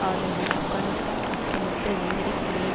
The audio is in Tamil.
ஆதரவையும் ஆப்கானிஸ்தான் ஆக்கிரமிப்பில் நேரடி பங்கையும்